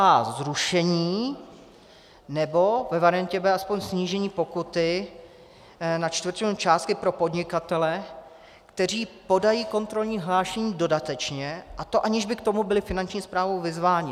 A zrušení, nebo ve variantě B aspoň snížení pokuty na čtvrtinu částky pro podnikatele, kteří podají kontrolní hlášení dodatečně, a to aniž by k tomu byli Finanční správou vyzváni.